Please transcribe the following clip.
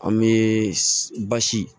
An bɛ basi